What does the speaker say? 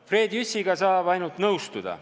Fred Jüssiga saab ainult nõustuda.